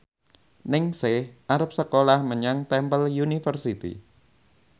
Ningsih arep sekolah menyang Temple University